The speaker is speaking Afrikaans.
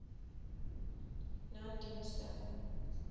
nonedienste